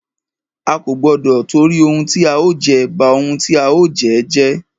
A kò gbọdọ tìtorí ohun tí a ó jẹ, ba ohun tí a ó jẹ́ jẹ́.